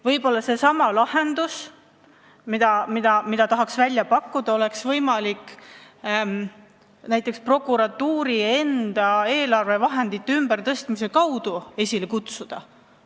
Võib-olla lahendus, mida tahaks välja pakkuda, oleks võimalik näiteks prokuratuuri enda eelarvevahendeid ümber tõstes saavutada.